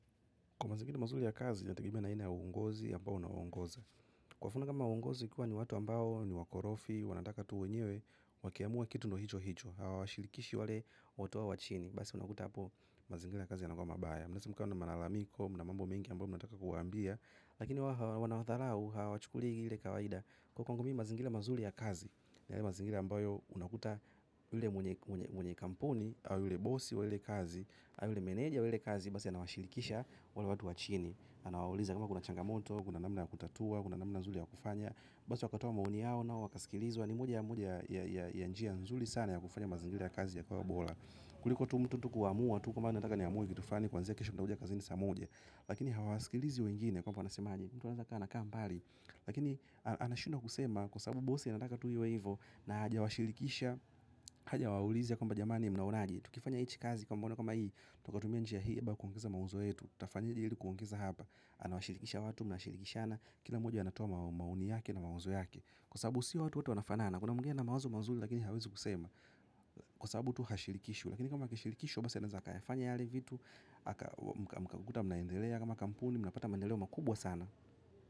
Kwa mazingira mazuri ya kazi, inategemea na aina ya uongozi ambao unawaongoza. Kwa mfano kama uongozi ukiwa ni watu ambao ni wakorofi, wanataka tu wenyewe, wakiamua kitu ndo hicho hicho, hawa washirikishi wale watu wao wa chini. Basi unakuta hapo, mazingira ya kazi yanakuwa mabaya. Mnaweza mkawa na malalamiko, mna mambo mengi ambayo mnataka kuwambia, lakini wanawadharau, hawachukuli ile kawaida. Kwa kwangu mimi mazingira mazuri ya kazi, ni yale mazingira ambayo unakuta ule mwenye kampuni, au yule bosi wa ile kazi, au yule meneja we ile kazi basi anawashirikisha wale watu wa chini anawauliza kama kuna changamoto, kuna namna ya kutatua, kuna namna nzuri ya kufanya basi wakatoa maoni yao nao wakaskilizwa ni moja ya moja ya njia nzuri sana ya kufanya mazangira ya kazi yakawa bora kuliko tu mtu tu kuamua, tu kwamba yeye anataka niamue kitu flani kwanzia kesho nitakuja kazini saa moja lakini hawasikilizi wengine kwamba wanasemaje mtu anawezaka anakaa mbali lakini anashindwa kusema kwa sababu bosi anataka tu iwe hivo na haja washirikisha, haja waulizi kwamba jamani mnaonaje tukifanya hichi kazi kwa mfano kama hii tukatumia njia hii ama kuongeza mauzo yetu tutafanye ili kuongeza hapa anawashirikisha watu, mnashirikishana kila mmoja anatoa maoni yake na mawazo yake kwa sababu si watu wote wanafanana kuna mwingine ana mawazo mazuri lakini hawezi kusema kwa sababu tu hashirikishwi lakini kama akishirikishwa, basi anaweza akayafanya yale vitu haka mkakuta mnaendelea kama kampuni, mnapata maendeleo makubwa sana.